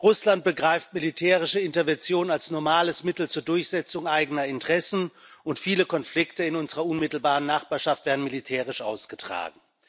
Russland begreift militärische Intervention als normales Mittel zur Durchsetzung eigener Interessen, und viele Konflikte in unserer unmittelbaren Nachbarschaft werden militärisch ausgetragen.